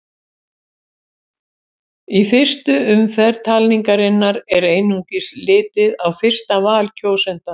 Í fyrstu umferð talningarinnar er einungis litið á fyrsta val kjósenda.